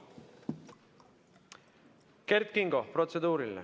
Kert Kingo, protseduuriline.